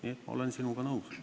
Nii et ma olen sinuga nõus.